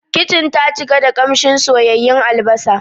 Kitchen ta cika da kamshin soyayyun albasa.